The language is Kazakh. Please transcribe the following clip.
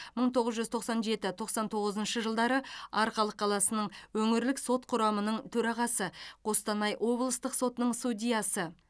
мың тоғыз жүз тоқсан жеті тоқсан тоғызыншы жылдары арқалық қаласының өңірлік сот құрамының төрағасы қостанай облыстық сотының судьясы